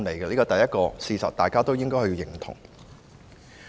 這是事實，大家也應該認同。